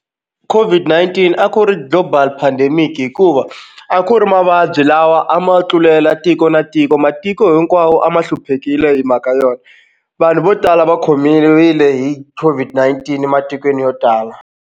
COVID-19 a ku ri global pandemic hikuva a ku ri mavabyi lawa a ma tlulela tiko na tiko matiko hinkwawo a ma hluphekile hi mhaka yona vanhu vo tala va khomiwe hi COVID-19 ematikweni yo tala.